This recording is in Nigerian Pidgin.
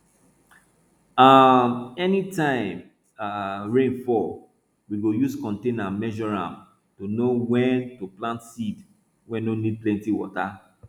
um anytime um rain fall we go use container measure am to know wen to plant seed wey no need plenty water